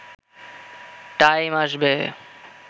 time আসবে